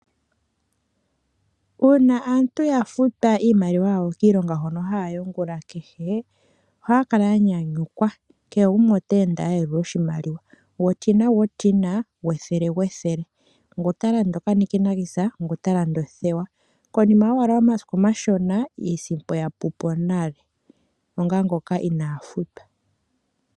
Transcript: Uuna aantu yafutwa iimaliwa yawo kiilonga yawo noho haya yi ongula kehe ohaya kala ya nyanyukwa gwotina gwotina gwethele gwethele. Ohaya kala taya landa iinima yawo ngaashi uunikinikanisa nokonima yomasiku omashona iimaliwa yapupo onga omuntu ngoka inafutwa.